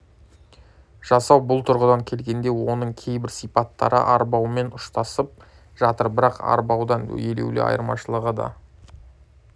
жасау бұл тұрғыдан келгенде оның кейбір сипаттары арбаумен ұштасып жатыр бірақ арбаудан елеулі айырмашылығы да